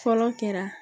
Fɔlɔ kɛra